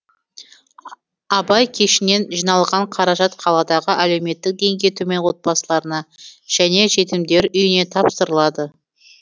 абай кешінен жиналған қаражат қаладағы әлеуметтік деңгейі төмен отбасыларына және жетімдер үйіне тапсырылады